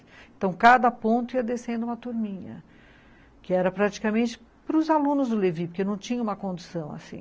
Então, cada ponto ia descendo uma turminha, que era praticamente para os alunos do Levi, porque não tinha uma condução assim.